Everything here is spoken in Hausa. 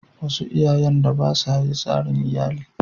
Wasu iyayen da ba sa yi tsarin iyali.